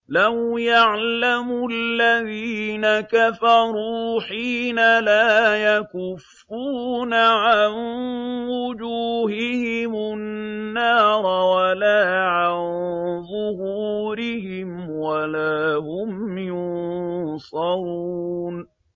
لَوْ يَعْلَمُ الَّذِينَ كَفَرُوا حِينَ لَا يَكُفُّونَ عَن وُجُوهِهِمُ النَّارَ وَلَا عَن ظُهُورِهِمْ وَلَا هُمْ يُنصَرُونَ